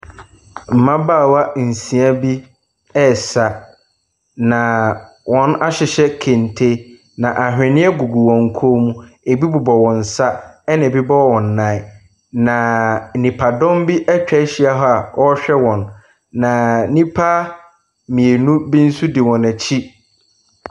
Mmabaawa nsia bi resa, naaa Wɔahyehyɛ kente, na ahweneɛ gugu wɔn kɔn mu. Ɛbi bobɔ wɔn nsa, ɛna ɛbi boba wɔn nan. Na nipadɔm bi atwa ahyia hɔ a wɔrehwɛ wɔn, na nnipa mmienu bo nso di wɔn akyi.